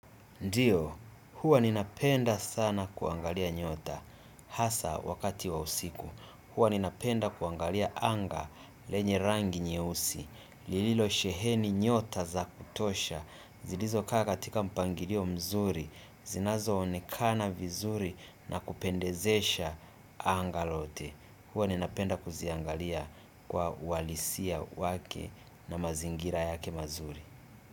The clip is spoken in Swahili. Ndiyo, huwa ninapenda sana kuangalia nyota, hasa wakati wa usiku, huwa ninapenda kuangalia anga lenye rangi nyeusi, lililosheheni nyota za kutosha, zilizokaa katika mpangilio mzuri, zinazoonekana vizuri na kupendezesha anga lote. Huwa ninapenda kuziangalia kwa ualisia wake na mazingira yake mazuri.